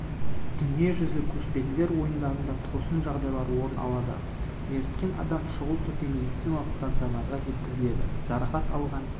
дүниежүзілік көшпенділер ойындарында тосын жағдайлар орын алды мертіккен адам шұғыл түрде медициналық станционарға жеткізілді жарақат алған